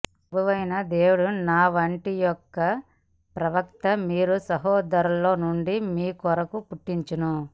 ప్రభువైన దేవుడు నా వంటి యొక ప్రవక్త మీ సహోదరులలో నుండి మీ కొరకు పుట్టించును